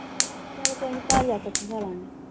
ਚੱਲ ਕੋਈ ਨਹੀਂ ਘਰ ਜਾ ਕੇ ਇਕਠੀ ਖਾਲਾਗੇ।